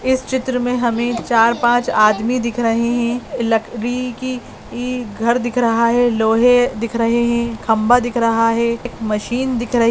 इस चित्र मीन हमें चार पाँच आदमी दिख रहें हैं घर देख रहा है लोहे दिक रहें हैं खंबा दिख रहा है एक मशीन दिक रही--